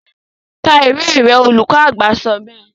ka ìwé rẹ, olùkọ àgbà sọ bẹ́ẹ̀